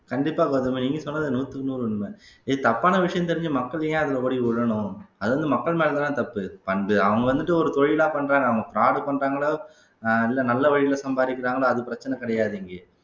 கண்டிப்பா கௌதமி நீங்க சொன்னது நூத்துக்கு நூறு உண்மை இது தப்பான விஷயம் தெரிஞ்ச மக்கள் ஏன் அதுல ஓடி விழணும் அது வந்து மக்கள் மேல தான் தப்பு வந்து அவங்க வந்துட்டு ஒரு தொழிலா பண்றாங்க அவங்க fraud பண்றாங்களோ அஹ் இல்ல நல்ல வழியில சம்பாதிக்கிறாங்களோ அது பிரச்சனை கிடையாது இங்க